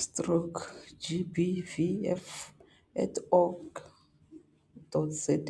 stroke gbvf.org.za.